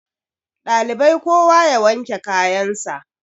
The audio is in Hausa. ɗalibai kowa ya wanke kayansa